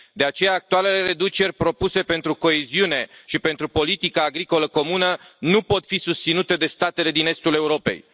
De aceea, actualele reduceri propuse pentru coeziune și pentru politica agricolă comună nu pot fi susținute de statele din estul Europei.